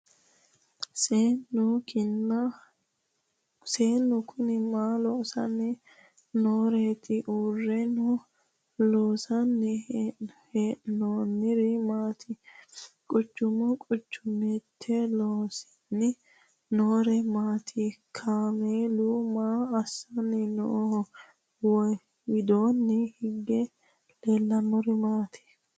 Seennu Kuni maa loosanni nooreetti? Uurenna loonsanni hee'noonniri maati? qacce qacceette loosanni noori maatti? Kaameelu maa assanni nooho? Widoonni hige leelannori maatti?